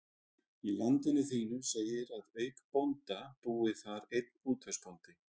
Í Landinu þínu segir að auk bónda búi þar einn útvegsbóndi.